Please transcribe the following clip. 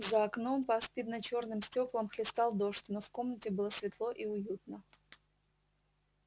за окном по аспидно-чёрным стёклам хлестал дождь но в комнате было светло и уютно